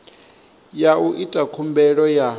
ya u ita khumbelo ya